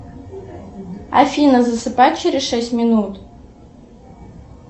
афина засыпай через шесть минут